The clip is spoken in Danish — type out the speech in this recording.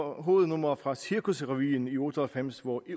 hovednummer fra cirkusrevyen i nitten otte og halvfems hvor